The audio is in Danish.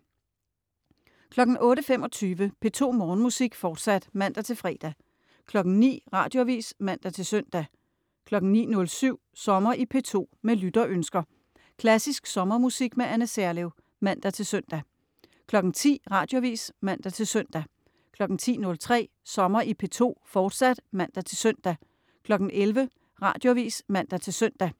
08.25 P2 Morgenmusik, fortsat (man-fre) 09.00 Radioavis (man-søn) 09.07 Sommer i P2, Med lytterønsker. Klassisk sommermusik med Anne Serlev. (man-søn) 10.00 Radioavis (man-søn) 10.03 Sommer i P2, fortsat (man-søn) 11.00 Radioavis (man-søn)